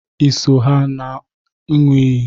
Ị so ha na nua iyi?